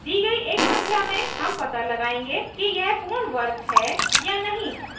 दी गई एक संख्या में हम पता लगायेंगे कि यह एक पूर्ण वर्ग है या नहीं